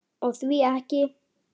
Og því ekki?